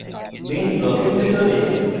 main ব্লকের ভিতরে